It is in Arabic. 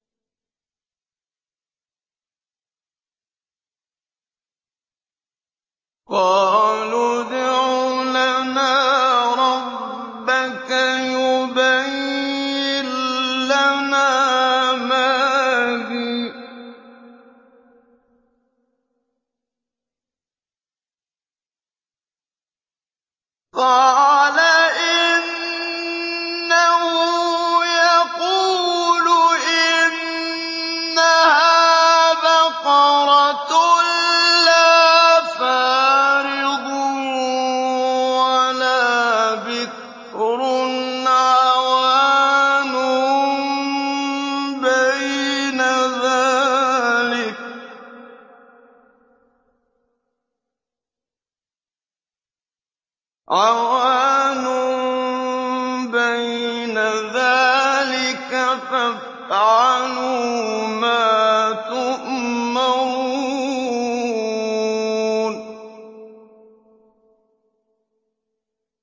قَالُوا ادْعُ لَنَا رَبَّكَ يُبَيِّن لَّنَا مَا هِيَ ۚ قَالَ إِنَّهُ يَقُولُ إِنَّهَا بَقَرَةٌ لَّا فَارِضٌ وَلَا بِكْرٌ عَوَانٌ بَيْنَ ذَٰلِكَ ۖ فَافْعَلُوا مَا تُؤْمَرُونَ